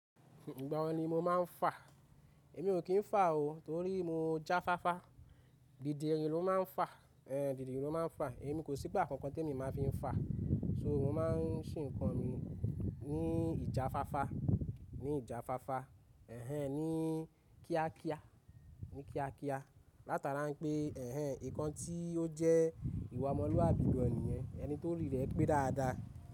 Ìgbà wo ni mo máa ń fà? Èmi ò kí ń fà o torí mo jáfáfá. Dídirin ló máa ń fà, ẹ̀ dìdirin ló máa ń fà. Èmi kò sí ìgbà kankan tí èmi máa fi ń fà. So mo máa ń ṣìn kan mi ní ìjáfáfá, ní ìjáfáfá, ẹ̀hen ní kíákíá, ní kíákíá. Látara pé ẹ̀hen nǹkan tí ó jẹ́ ìwà ọmọlúwàbí gan ni yẹ̀n ẹni tó ori rẹ̀ pé dáadáa.